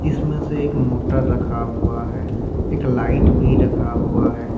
इसमें से एक मोटर रखा हुआ है एक लाइट भी रखा हुआ है।